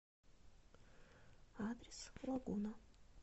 адрес лагуна